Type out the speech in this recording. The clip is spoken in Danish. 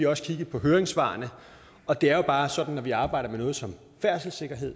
også kigget på høringssvarene og det er jo bare sådan at når vi arbejder med noget som færdselssikkerhed